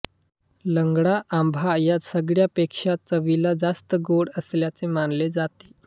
लंगडा आंबा या सगळ्यांपेक्षा चवीला जास्त गोड असल्याचे मानले जाते